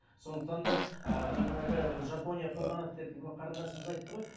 сондықтан да ыыы жаңағы жапония қолданады деп мына қарындасымыз айтты ғой